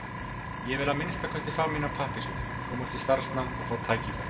Ég vil að minnsta kosti fá mína pappírsvinnu, komast í starfsnám og fá tækifæri.